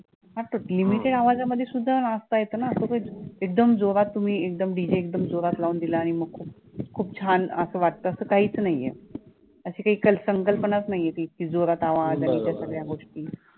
हा तर limited आवाजातमध्ये सुद्धा नाचता येतो ना असं काही एकदम जोरात तुम्ही एकदम DJ एकदम जोरात लावून दिला आणि मग खूप खूप छान असं वाटतं असं काहीच नाही अशी काही क संकल्पनाचं नाही आहे ती इतकी जोरात आवाज आणि त्या सगळ्या गोष्टी